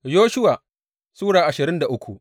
Yoshuwa Sura ashirin da uku